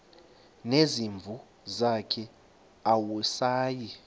nezimvu zakhe awusayi